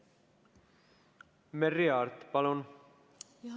Merry Aart, palun!